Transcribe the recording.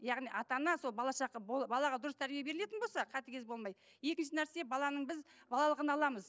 яғни ата ана сол балаға дұрыс тәрбие берілетін болса қатыгез болмай екінші нәрсе баланың біз балалығын аламыз